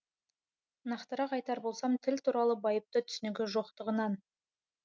нақтырақ айтар болсам тіл туралы байыпты түсінігі жоқтығынан